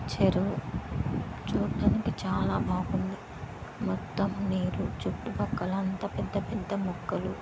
చెరువు చూడడానికి చాల బాగుంది మొత్తం నీరు చుట్టూ ప్రక్కల అంత పెద్ద పెద్ద మొక్కలు.